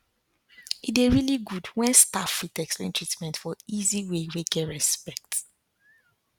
e dey really good when staff fit explain treatment for easy way wey get respect